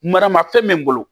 Maramafɛn bɛ n bolo